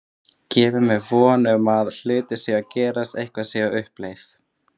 Gefur mér von um að hlutirnir séu að gerast, eitthvað sé á uppleið.